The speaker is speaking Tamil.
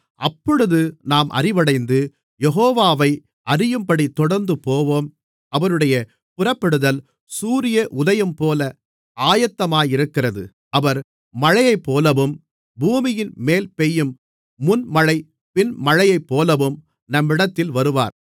அப்பொழுது நாம் அறிவடைந்து யெகோவாவை அறியும்படி தொடர்ந்து போவோம் அவருடைய புறப்படுதல் சூரிய உதயம்போல ஆயத்தமாயிருக்கிறது அவர் மழையைப்போலவும் பூமியின்மேல் பெய்யும் முன்மழை பின்மழையைப்போலவும் நம்மிடத்தில் வருவார்